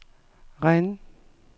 Rennes